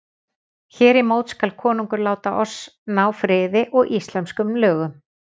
Hér í mót skal konungur láta oss ná friði og íslenskum lögum.